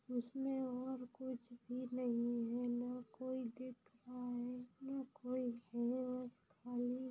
इसमे और कुछ भी नहीं है ना कोई दिख रहा है ना कोई है बस खाली--